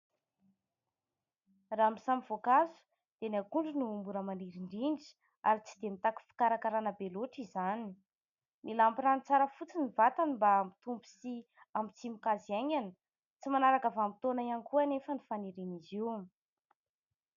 Raha samy voankazo dia ny akondro no mora maniry indrindra ary tsy dia mitaky fikarakarana be loatra izany. Mila ampy rano tsara fotsiny ny vatany mba hampitombo sy hampitsimoka azy haingana tsy manaraka vanim-potoana ihany koa anefa ny fanirian'izy io.